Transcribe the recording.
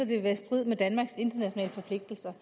vil være i strid med danmarks internationale forpligtelser